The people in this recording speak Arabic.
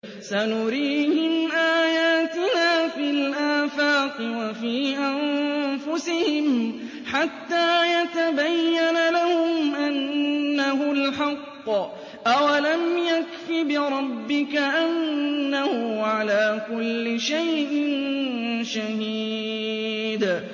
سَنُرِيهِمْ آيَاتِنَا فِي الْآفَاقِ وَفِي أَنفُسِهِمْ حَتَّىٰ يَتَبَيَّنَ لَهُمْ أَنَّهُ الْحَقُّ ۗ أَوَلَمْ يَكْفِ بِرَبِّكَ أَنَّهُ عَلَىٰ كُلِّ شَيْءٍ شَهِيدٌ